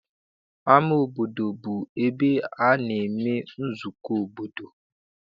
Ama obodo bụ ebe a na-eme nzukọ obodo.